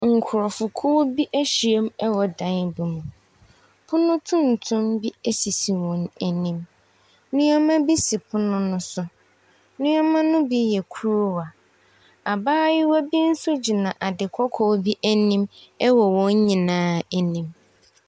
Nkurɔfokuo bi ahyia mu wɔ dan bi mu. Pno tuntum bi sisi wɔn anim. Nneɛma bi si pono no so. Nneɛma no bi yɛ kuruwa. Abaayewa bi nso gyina adekɔkɔɔ bi anim wɔ wɔn nyinaa anim.